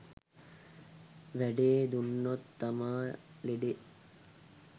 වැඩේ දුන්නොත් තමා ලෙඩේ.